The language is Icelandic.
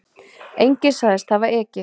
Enginn sagðist hafa ekið